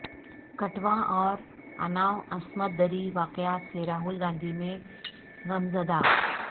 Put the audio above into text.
کٹھوعہ اور اناو عصمت دری واقعات سے راہل گاندھی میں غمزدہ